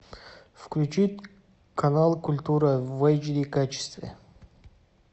включить канал культура в эш ди качестве